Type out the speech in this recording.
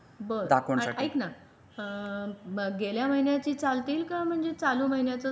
बरं ऐकणं गेल्या महिन्याची चालतील का म्हणजे चालू महिन्याचे पाहजे असा काही आहे काय?